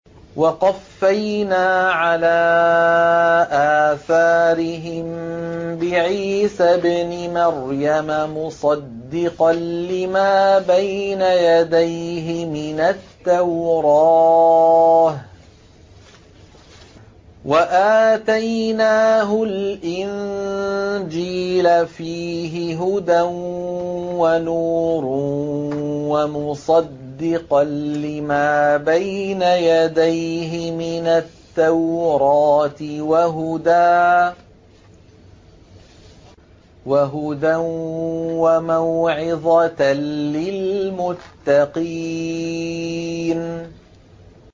وَقَفَّيْنَا عَلَىٰ آثَارِهِم بِعِيسَى ابْنِ مَرْيَمَ مُصَدِّقًا لِّمَا بَيْنَ يَدَيْهِ مِنَ التَّوْرَاةِ ۖ وَآتَيْنَاهُ الْإِنجِيلَ فِيهِ هُدًى وَنُورٌ وَمُصَدِّقًا لِّمَا بَيْنَ يَدَيْهِ مِنَ التَّوْرَاةِ وَهُدًى وَمَوْعِظَةً لِّلْمُتَّقِينَ